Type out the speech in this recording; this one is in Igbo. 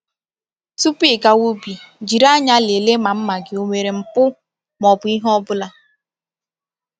Tupu i gawa ubi, jiri anya lelee ma mma gị onwere mpu ma ọ bụ ihe ọbụla.